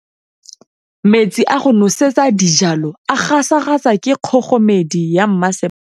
Metsi a go nosetsa dijalo a gasa gasa ke kgogomedi ya masepala.